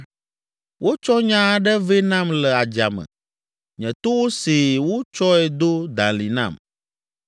“Wotsɔ nya aɖe vɛ nam le adzame, nye towo see wotsɔe do dalĩ nam.